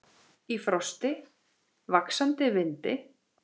Í frosti, vaxandi vindi.